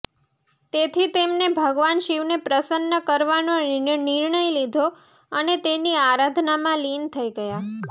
તેથી તેમને ભગવાન શિવને પ્રસન્ન કરવાનો નિર્ણય લીધો અને તેની આરાધનામાં લીન થઇ ગયા